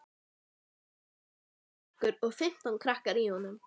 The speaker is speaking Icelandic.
Það var bara einn bekkur og fimmtán krakkar í honum.